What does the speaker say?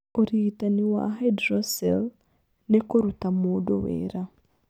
Ũrigitani wa hydrocele nĩ kũruta mũndũ wĩra.